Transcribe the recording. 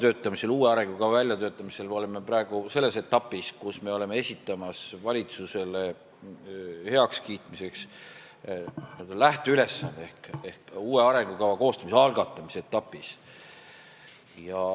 Metsanduse uue arengukava väljatöötamisel oleme praegu selles etapis, kus me oleme esitamas valitsusele heakskiitmiseks lähteülesannet, ehk me oleme uue arengukava koostamise algatamise etapis.